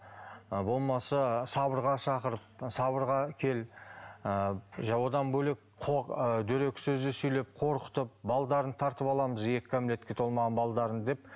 ы болмаса сабырға шақырып сабырға кел ыыы одан бөлек ы дөрекі сөздер сөйлеп қорқытып тартып аламыз екі кәмелетке толмаған деп